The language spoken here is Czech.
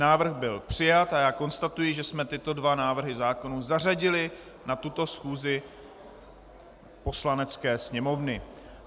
Návrh byl přijat a já konstatuji, že jsme tyto dva návrhy zákonů zařadili na tuto schůzi Poslanecké sněmovny.